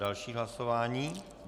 Další hlasování.